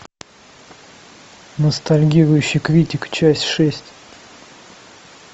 ностальгирующий критик часть шесть